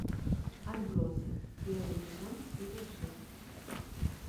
отбросы первый сезон серия шесть